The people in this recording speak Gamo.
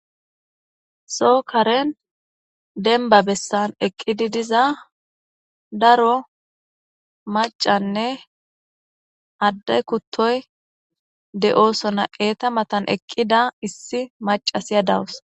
Soo karen denba bessan eqqidi diza daro macanne addey kuttoy de'oosona eeta matan eqqida issi macasiya dawus.